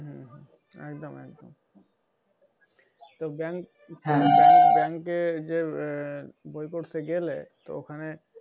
আহ একদম একদম তো bank bank bank এ ঐযে আহ বই করতে গেলে ওখানে,